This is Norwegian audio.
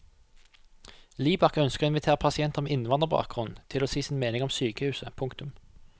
Libak ønsker å invitere pasienter med innvandrerbakgrunn til å si sin mening om sykehuset. punktum